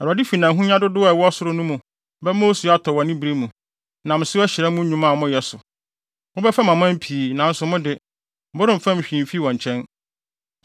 Awurade fi nʼahonya dodow a ɛwɔ soro no mu bɛma osu atɔ wɔ ne bere mu, nam so ahyira mo nnwuma a moyɛ so. Mobɛfɛm aman pii, nanso mo de, moremfɛm hwee mfi wɔn nkyɛn.